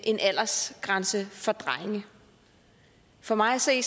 en aldersgrænse for drenge for mig at se